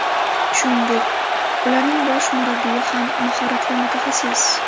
Shuningdek, ularning bosh murabbiyi ham mahoratli mutaxassis.